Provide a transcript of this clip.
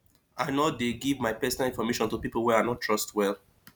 i no dey give my personal information to people wey i no trust well